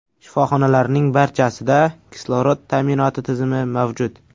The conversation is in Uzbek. Shifoxonalarning barchasida kislorod ta’minoti tizimi mavjud.